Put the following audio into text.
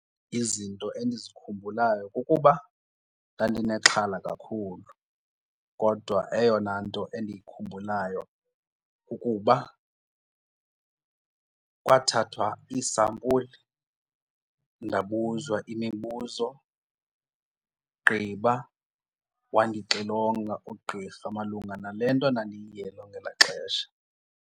Izinto endizikhumbulayo kukuba ndandinexhala kakhulu kodwa eyona nto endiyikhumbulayo kukuba kwathathwa iisampuli ndabuzwa imibuzo gqiba wandixilonga ugqirha malunga nale nto ndandiyiyele ngelaa xesha.